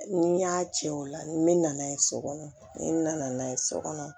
Ni n y'a cɛ ola n bɛ na n'a ye so kɔnɔ ne nana n'a ye so kɔnɔ